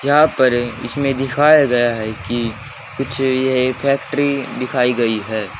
यहां पर इसमें दिखाया गया है कि कुछ ये फैक्ट्री दिखाई गई है।